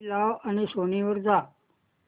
TV लाव आणि Sony वर जा